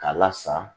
K'a lasa